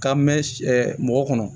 K'a mɛn mɔgɔ kɔnɔ